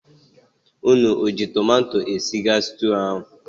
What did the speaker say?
Ụnụ o ji tomato esige stuu ahụ?